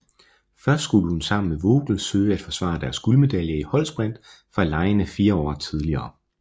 Først skulle hun sammen med Vogel søge at forsvare deres guldmedaljer i holdsprint fra legene fire år tidligere